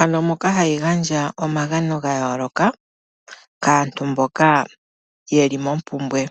Ano moka hayi gandja omagano ga yooloka kaantu mboka yeli mompumbwe.